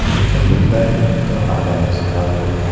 Lekin, bunday mikroorganizmlar yo‘q.